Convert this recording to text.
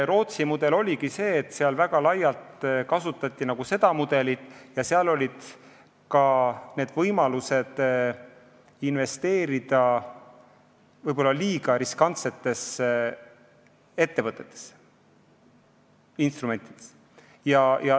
Rootsis kasutati seda mudelit väga laialt ja seal olid ka võimalused investeerida võib-olla liiga riskantsetesse instrumentidesse.